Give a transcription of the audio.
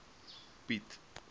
piet